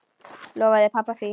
Lofaði pabba því.